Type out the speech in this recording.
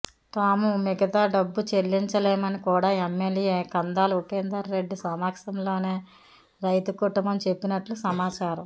తాము మిగతా డబ్బు చెల్లించలేమని కూడా ఎమ్మెల్యే కందాల ఉపేందర్ రెడ్డి సమక్షంలోనే రైతు కుటుంబం చెప్పినట్లు సమాచారం